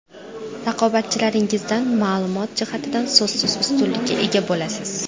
Raqobatchilaringizdan ma’lumot jihatidan so‘zsiz ustunlikka ega bo‘lasiz.